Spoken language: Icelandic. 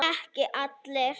Ekki allir.